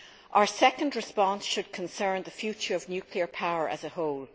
Our second response should concern the future of nuclear power as a whole.